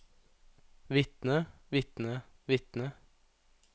vitne vitne vitne